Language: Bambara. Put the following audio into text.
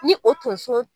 Ni o tonso